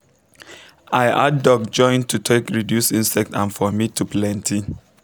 i add duck join to take reduce insect and for meat to plenty